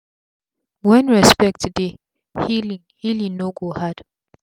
wen respect dey healing healing no go hard